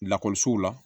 Lakɔlisow la